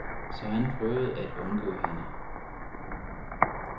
Så han prøvede at undgå hende.